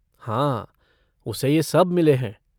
हाँ, उसे ये सब मिले हैं।